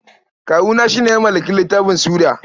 Kawuna shi ne mawallafin littafin Suda.